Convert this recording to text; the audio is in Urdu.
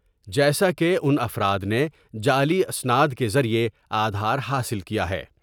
جیسا کہ ان افراد نے جعلی اسناد کے ذریعہ آدھار حاصل کیا ہے ۔